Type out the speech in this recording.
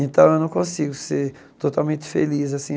Então, eu não consigo ser totalmente feliz assim.